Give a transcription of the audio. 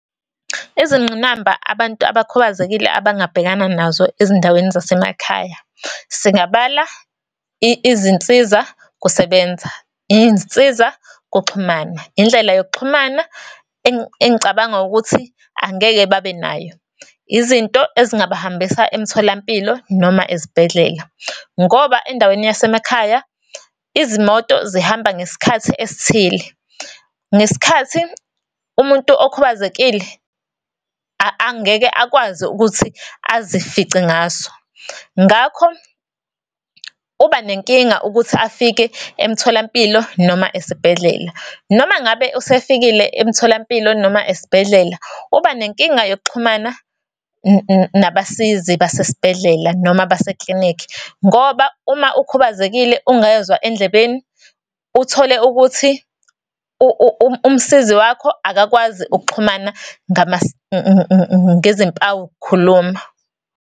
Izingqinamba abantu abakhubazekile abangabhekana nazo ezindaweni zasemakhaya, singabala izinsizakusebenza, insizakuxhumana, indlela yokuxhumana engicabanga ukuthi angeke babenayo. Izinto ezingabahambisa emtholampilo, noma ezibhedlela, ngoba endaweni yasemakhaya izimoto zihamba ngesikhathi esithile, ngesikhathi umuntu okhubazekile angeke akwazi ukuthi azifice ngaso. Ngakho, uba nenkinga ukuthi afike emtholampilo noma esibhedlela. Noma ngabe usefikile emtholampilo, noma esibhedlela, uba nenkinga yokuxhumana nabasizi basesibhedlela, noma baseklinikhi. Ngoba uma ukhubazekile ungezwa endlebeni, uthole ukuthi umsizi wakho akakwazi ukuxhumana ngezimpawukukhuluma.